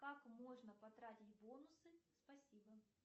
как можно потратить бонусы спасибо